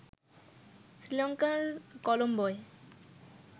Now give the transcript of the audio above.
শ্রীলঙ্কার কলম্বোয়